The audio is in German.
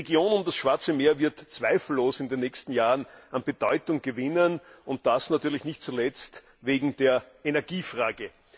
Die Region um das Schwarze Meer wird zweifellos in den nächsten Jahren an Bedeutung gewinnen, und das natürlich nicht zuletzt wegen der Energiefrage.